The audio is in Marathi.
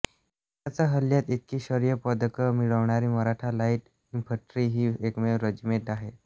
एकाच हल्ल्यात इतकी शौर्य पदकं मिळवणारी मराठा लाईट इन्फंट्री ही एकमेव रेजिमेंट आहे